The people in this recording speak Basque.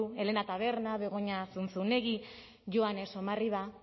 helena taberna begoña zunzunegi joane somarriba